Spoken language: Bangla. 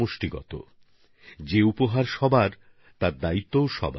এটা একদম ঠিক কথা যেমন সর্বজনীন উপহার তেমনি সর্বজনীন দায়বদ্ধতাও আছে